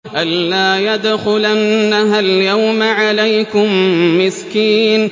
أَن لَّا يَدْخُلَنَّهَا الْيَوْمَ عَلَيْكُم مِّسْكِينٌ